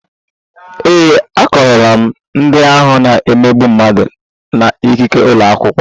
Ee, akọrọ m ndị ahụ na-emegbu mmadụ na ikike ụlọ akwụkwọ